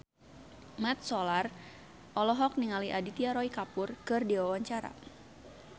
Mat Solar olohok ningali Aditya Roy Kapoor keur diwawancara